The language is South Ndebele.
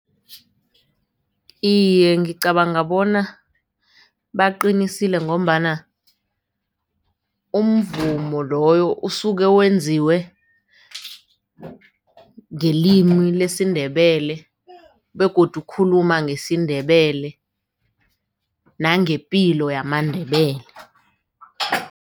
Iye, ngicabanga bona baqinisile ngombana umvumo loyo usuke wenziwe ngelimi lesiNdebele begodu ukhuluma ngesiNdebele nangepilo yamaNdebele.